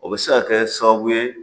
O bɛ se ka kɛ sababu ye